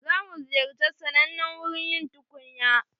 Za mu ziyarci sannanen wurin yin tukunya.